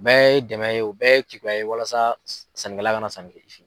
U bɛɛ ye dɛmɛ ye u bɛɛ ye keguya ye walasa sannikɛla ka na sanni kɛ.